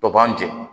To b'an jɛn